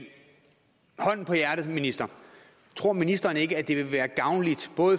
hånden på hjertet minister tror ministeren ikke at det vil være gavnligt